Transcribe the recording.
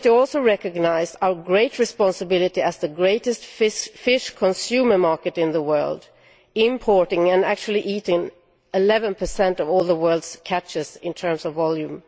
The committee also recognised our heavy responsibility as the greatest fish consumer market in the world, importing and eating 11 of all the world's catches in terms of volume.